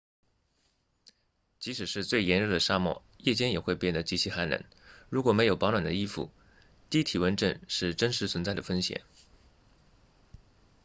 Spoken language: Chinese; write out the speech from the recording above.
即使是最炎热的沙漠夜间也会变得极其寒冷如果没有保暖的衣服低体温症是真实存在的风险